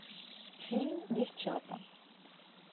фильм девчата